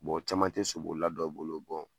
Bɔn o caman te sobolila bɛɛ bolo bɔn